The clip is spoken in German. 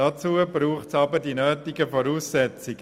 Dazu braucht es aber die nötigen Voraussetzungen: